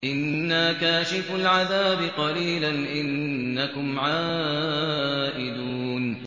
إِنَّا كَاشِفُو الْعَذَابِ قَلِيلًا ۚ إِنَّكُمْ عَائِدُونَ